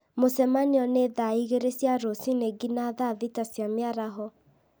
mũcemanio nĩ thaa igĩrĩ cia rũciinĩ nginya thaa thita cia mĩaraho